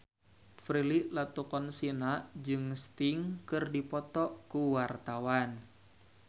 Prilly Latuconsina jeung Sting keur dipoto ku wartawan